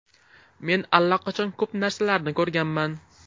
Men allaqachon ko‘p narsalarni ko‘rganman.